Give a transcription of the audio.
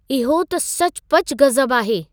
इहो त सचुपचु गज़ब आहे!